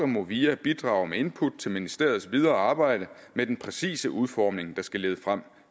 movia bidrager med input til ministeriets videre arbejde med den præcise udformning der skal lede frem